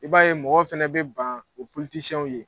I b'a ye mɔgɔw fana bɛ ban o ptisiyɛnw ye.